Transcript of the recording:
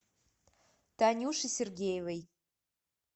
танюше сергеевой